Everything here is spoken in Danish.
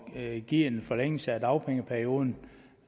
at give en forlængelse af dagpengeperioden